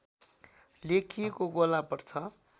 लेखिएको गोला पर्छ